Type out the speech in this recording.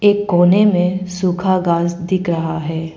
एक कोने में सुखा घास दिख रहा है।